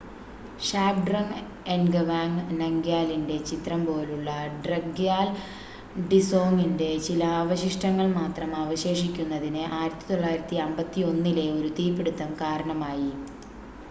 ഷാബ്ഡ്രങ് എൻഗവാങ് നംഗ്യാലിന്റെ ചിത്രം പോലുളള ഡ്രക്ഗ്യാൽ ഡിസോങിന്റെ ചില അവശിഷ്ടങ്ങൾ മാത്രം അവശേഷിക്കുന്നതിന്,1951-ലെ ഒരു തീപിടുത്തം കാരണമായി